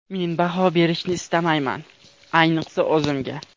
Men baho berishni istamayman, ayniqsa o‘zimga.